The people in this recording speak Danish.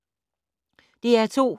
DR2